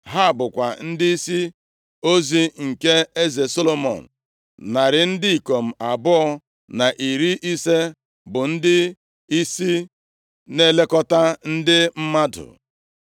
Ha bụkwa ndịisi ozi nke eze Solomọn, narị ndị ikom abụọ na iri ise bụ ndịisi na-elekọta ndị mmadụ.